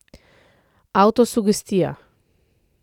Avtosugestija.